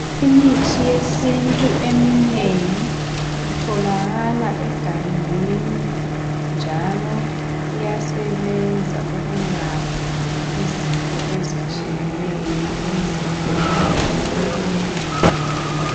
Imithi yesintu eminengi itholakala egangeni njalo iyasebenza ukulapha izifo ezitshiyeneyo emzimbeni womuntu.